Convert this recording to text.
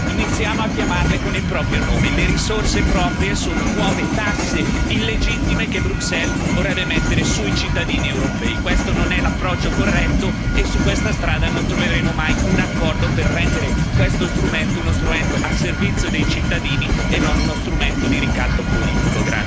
Iniziamo a chiamarle con il proprio nome le risorse proprie sono nuove tasse illegittime che Bruxelles vorrebbe mettere sui cittadini europei. Questo non è l'approccio corretto e su questa strada non troveremo mai un accordo per rendere questo strumento uno strumento al servizio dei cittadini e non uno strumento di ricatto politico.